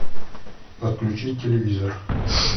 подключить телевизор